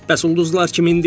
Bəs ulduzlar kimindir?